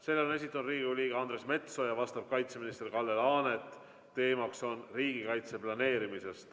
Selle on esitanud Riigikogu liige Andres Metsoja, sellele vastab kaitseminister Kalle Laanet ja teema on riigikaitse planeerimine.